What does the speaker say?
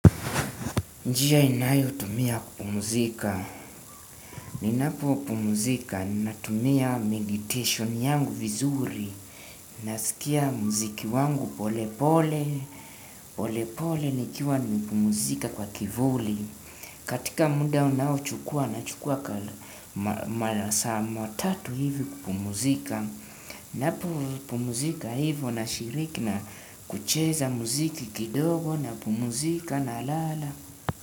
Njia ninayo tumia kupumzika. Ninapo pumzika, natumia meditation yangu vizuri. Nasikia muziki wangu pole pole, pole pole nikiwa nimepumzika kwa kivuli. Katika muda unaochukua na chukua masaa ma tatu hivo kupumzika. Ninapo pumzika hivo na shiriki na kucheza mziki kidogo napumzika na lala.